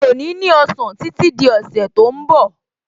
Mi ò ní ní ọ̀sán títí di ọ̀sẹ̀ tó ń bọ̀